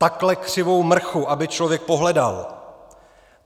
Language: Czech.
Takhle křivou mrchu, aby člověk pohledal!